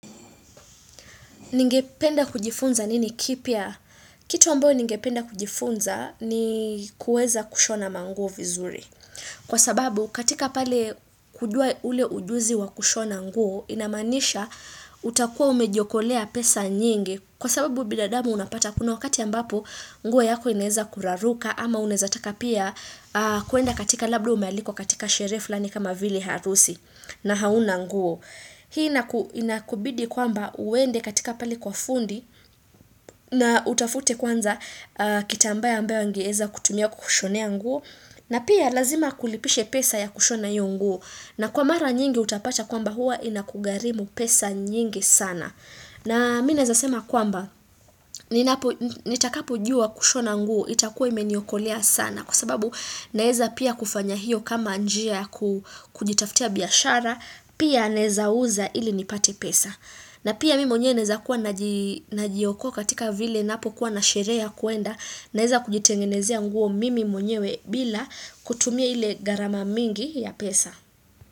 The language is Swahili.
Ningependa kujifunza nini kipya? Kitu ambayo ningependa kujifunza ni kuweza kushona manguo vizuri. Kwa sababu katika pale kujua ule ujuzi wa kushona nguo inamaanisha utakuwa umejiokolea pesa nyingi. Kwa sababu binadamu unapata kuna wakati ambapo nguo yako inaeza kuraruka ama unaeza taka pia kuenda katika labda umealikwa katika sherehe fullani kama vile harusi na hauna nguo. Hii inakubidi kwamba uende katika pale kwa fundi na utafute kwanza kitambaa ya ambayo angeeza kutumia kushonea nguo na pia lazima akulipishe pesa ya kushona hiyo nguo na kwa mara nyingi utapata kwamba huwa inakugharimu pesa nyingi sana. Na mimi naeza sema kwamba, nitakapojua kushona nguo, itakuwa imeniokolea sana kwa sababu naeza pia kufanya hiyo kama njia ya kujitaftia biashara, pia naeza uza ili nipate pesa. Na pia mimi mwenyewe naeza kuwa najiokoa katika vile ninapokuwa na sherehe ya kuenda, naeza kujitengenezea nguo mimi mwenyewe bila kutumia ile gharama mingi ya pesa.